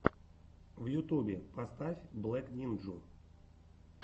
в ютубе поставь блэк нинджу